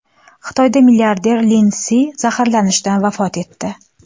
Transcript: Xitoyda milliarder Lin Si zaharlanishdan vafot etdi.